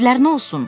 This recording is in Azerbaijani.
Evlər nə olsun?